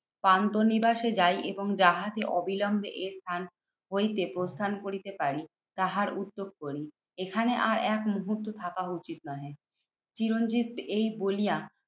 পান্থনিবাসে যাই এবং জাহাজে অবিলম্বে এই স্থান হইতে প্রস্থান করিতে পারি তাহার উদ্যোগ করি। এখানে আর এক মুহূর্ত থাকা উচিত নহে। চিরঞ্জিত এই বলিয়া